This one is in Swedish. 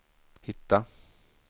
hitta